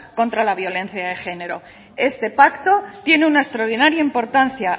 contra la violencia de género este pacto tiene una extraordinaria importancia